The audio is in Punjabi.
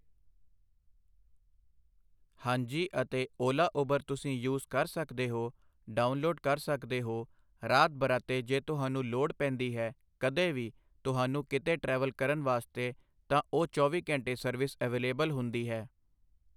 ਹਾਂਜੀ ਅਤੇ ਓਲਾ ਊਬਰ ਤੁਸੀਂ ਯੂਜ਼ ਕਰ ਸਕਦੇ ਹੋ ਡਾਊਨਲੋਡ ਕਰ ਸਕਦੇ ਹੋ ਰਾਤ ਬਰਾਤੇ ਜੇ ਤੁਹਾਨੂੰ ਲੋੜ ਪੈਂਦੀ ਹੈ ਕਦੇ ਵੀ ਤੁਹਾਨੂੰ ਕਿਤੇ ਟਰੈਵਲ ਕਰਨ ਵਾਸਤੇ ਤਾਂ ਉਹ ਚੌਵੀ ਘੰਟੇ ਸਰਵਿਸ ਅਵੇਲੇਬਲ ਹੁੰਦੀ ਹੈ